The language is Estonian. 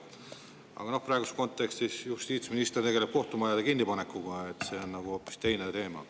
Aga noh, praeguses kontekstis tegeleb justiitsminister kohtumajade kinnipanekuga, kuid see on hoopis teine teema.